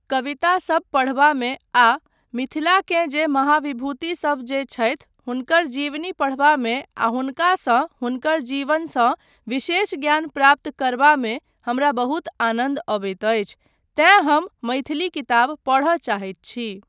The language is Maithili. कवितासब पढ़बामे आ मिथिलाकेँ जे महाविभुतिसब जे छथि हुनकर जीवनी पढ़बामे आ हुनकासँ, हुनकर जीवनसँ विशेष ज्ञान प्राप्त करबामे हमरा बहुत आनन्द अबैत अछि तैँ हम मैथिली किताब पढ़य चाहैत छी।